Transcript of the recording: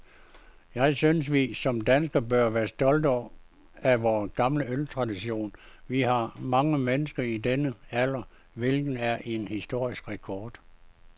Jeg synes, vi som danskere bør være stolte af vor gamle øltradition. Vi har mange mennesker i denne alder, hvilket er en historisk rekord.